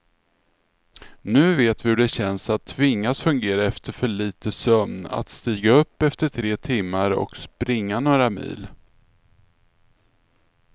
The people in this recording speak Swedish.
Nu vet vi hur det känns att tvingas fungera efter för lite sömn, att stiga upp efter tre timmar och springa några mil.